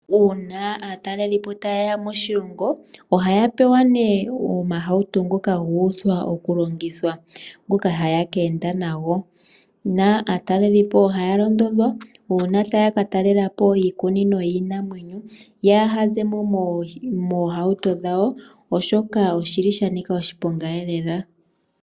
Uuna aatalelipo ta yeya moshilongo ohaya pewa nee omahauto ngoka ga uthwa oku longithwa, ngoka haya ka enda nago. Aatalelipo ohaya londodhwa uuna taya ka talelapo iikunino yiinamwenyo, yaa hazemo moohauto dhawo oshoka oshili sha nika oshiponga lela.